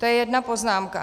To je jedna poznámka.